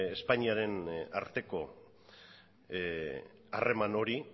espainiaren arteko harreman hori